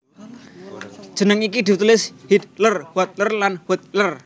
Jeneng iki ditulis Hiedler Huetler lan Huettler